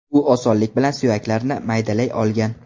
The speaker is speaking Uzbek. U osonlik bilan suyaklarni maydalay olgan.